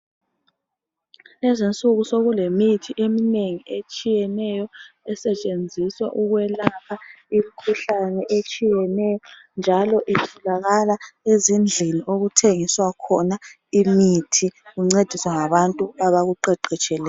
Kulezinsuku sekulemithi eminengi etshiyeneyo esetshenziswa ukwelapha imkhuhlane etshiyeneyo njalo itholakala ezindlini okuthengiswa khona imithi uncediswa ngabantu abakuqeqetsheleyo.